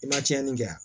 I ma tiɲɛni kɛ yan